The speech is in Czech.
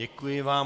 Děkuji vám.